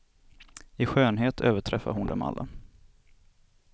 I skönhet överträffade hon dem alla.